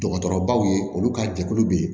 Dɔgɔtɔrɔbaw ye olu ka jɛkulu bɛ yen